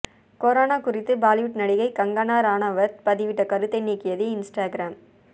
corona குறித்து பாலிவுட் நடிகை கங்கனா ரனாவத் பதிவிட்ட கருத்தை நீக்கியது இன்ஸ்டகிராம்